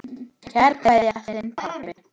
Kær kveðja, þinn pabbi.